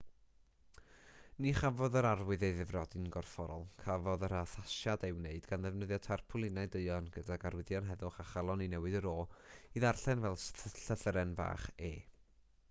ni chafodd yr arwydd ei ddifrodi'n gorfforol cafodd yr addasiad ei wneud gan ddefnyddio tarpwlinau duon gydag arwyddion heddwch a chalon i newid yr o i ddarllen fel llythyren fach e